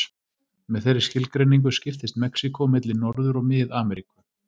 Með þeirri skilgreiningu skiptist Mexíkó milli Norður- og Mið-Ameríku.